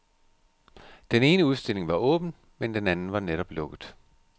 Den ene udstilling var åben, men den anden var netop lukket.